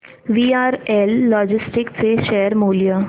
VRL लॉजिस्टिक्स चे share मूल्य